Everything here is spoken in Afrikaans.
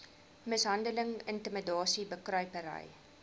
mishandeling intimidasie bekruipery